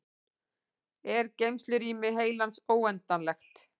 er geymslurými heilans óendanlegt